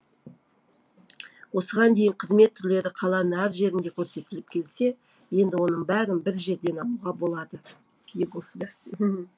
осыған дейін қызмет түрлері қаланың әр жерінде көрсетіліп келсе енді оның бәрін бір жерден алуға болады